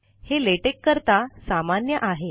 हे लेटेक करता सामान्य आहे